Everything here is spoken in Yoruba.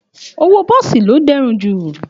Òwó bọsí lò dẹ rún jú